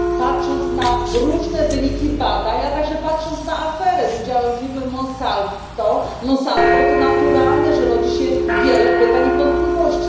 patrząc na różne wyniki badań, a także patrząc na aferę z udziałem firmy Monsanto, to naturalne, że rodzi się wiele pytań i wątpliwości.